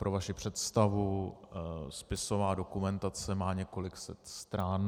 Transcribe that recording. Pro vaši představu, spisová dokumentace má několik set stran.